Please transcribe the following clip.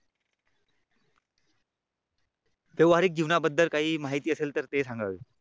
व्यवहारीक जीवनाबद्दल काही माहिती असेल तर ते सांगा.